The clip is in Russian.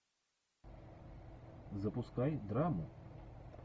запускай драму